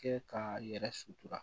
Kɛ k'a yɛrɛ sutura